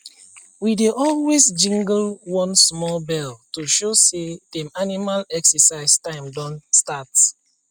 we dey always jingle one small bell to show say dem animal exercise time don start